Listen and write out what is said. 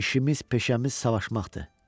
İşimiz-peşəmiz savaşmaqdır.